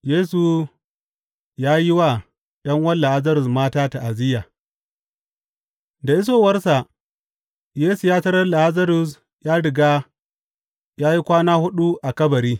Yesu ya yi wa ’yan’uwan Lazarus mata ta’aziyya Da isowarsa, Yesu ya tarar Lazarus ya riga ya yi kwana huɗu a kabari.